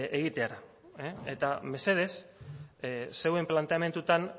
egitera eta mesedez zeuen planteamendutan